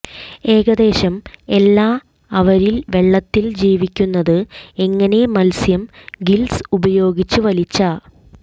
ഏകദേശം എല്ലാ അവരിൽ വെള്ളത്തിൽ ജീവിക്കുന്നത് എങ്ങനെ മത്സ്യം ഗില്ല്സ് ഉപയോഗിച്ച് വലിച്ച